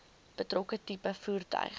betrokke tipe voertuig